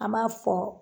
An m'a fɔ